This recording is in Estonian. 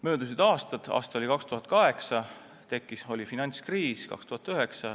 Möödus mõni aasta, saabusid 2008 ja 2009 oma finantskriisiga.